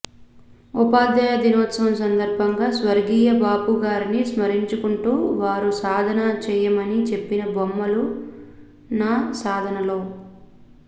ఉపాధ్యాయ దినోత్సవం సందర్భంగా స్వర్గీయ బాపు గారిని స్మరించుకుంటూ వారు సాధన చెయ్యమని చెప్పిన బొమ్మలు నా సాధనలో